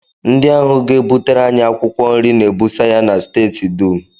Ndị ahụ ga-abịa butere anyị akwụkwọ nri na-ebusa ya na steeti dum